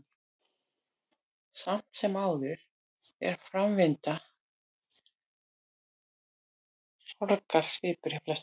Samt sem áður er framvinda sorgar svipuð hjá flestum.